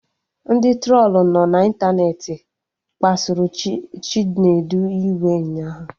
Ndị trolu nọ na ịntanetị kpasuru Chinedu iwe ụnyaahụ